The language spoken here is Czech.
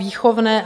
Výchovné.